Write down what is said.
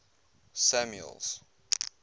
samuel's